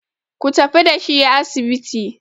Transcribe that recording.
ku tafi da shi asibiti!